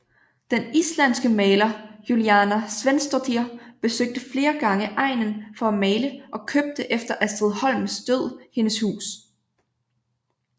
Den islandske maler Júlíana Sveinsdóttir besøgte flere gange egnen for at male og købte efter Astrid Holms død hendes hus